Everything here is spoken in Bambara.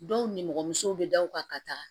Dɔw nimɔgɔmusow be da u kan ka taga